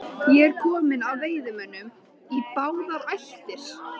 Ég er kominn af veiðimönnum í báðar ættir.